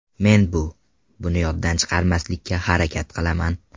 Men bu buni yoddan chiqarmaslikka harakat qilaman.